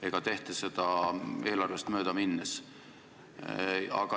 Aga neid teemasid on veel.